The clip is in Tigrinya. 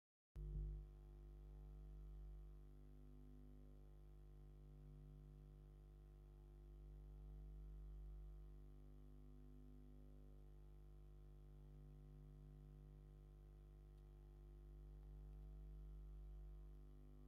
ፒዛ ካብ ሑሩጭን ችዝን ካልኦት ኣትክልትን ስጋን ኣብ ኦቪን ማሽን ዝስራሕ ኮይኑ፣ ደቂ ሰባት ኣብ ሸሞንተ ቆሪሶም ዝምገብዎ ዓይነት ምግቢ ምኳኑ ትፈልጡ ዶ?